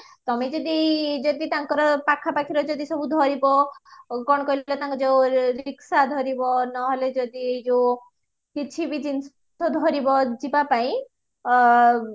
ତମେ ଯଦି ଯଦି ତାଙ୍କର ପାଖ ପାଖିର ଯଦି ସବୁ ଧରିବା କଣ କହିଲା ତାଙ୍କ ଯୋଉ ରିକ୍ସା ଧରିବା ନହେଲେ ଯଦି ଏଇ ଯୋଉ କିଛି ବି ଜିନିଷ ଧରିବା ଯିବା ପାଇଁ